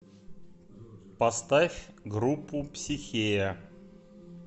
поставь группу психея